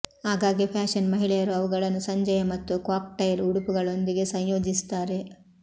ಆಗಾಗ್ಗೆ ಫ್ಯಾಶನ್ ಮಹಿಳೆಯರು ಅವುಗಳನ್ನು ಸಂಜೆಯ ಮತ್ತು ಕಾಕ್ಟೈಲ್ ಉಡುಪುಗಳೊಂದಿಗೆ ಸಂಯೋಜಿಸುತ್ತಾರೆ